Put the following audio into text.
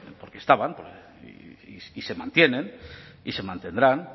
porque estaban y se mantienen y se mantendrán